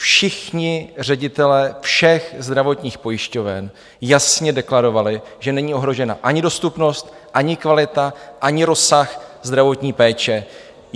Všichni ředitelé všech zdravotních pojišťoven jasně deklarovali, že není ohrožena ani dostupnost, ani kvalita, ani rozsah zdravotní péče.